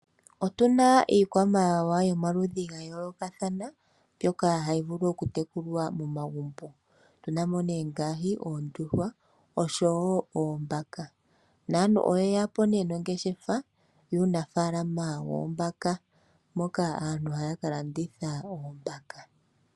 Iikwamawawa yomaludhi gayoolokathana mbyoka hayi vulu okutekulwa momagumbo otuna mo ngaashi oondjuhwa oshowo oombaka, naantu oyeya po nongeshefa yuunafaalama woombaka mpoka aantu haya ka landitha oombaka.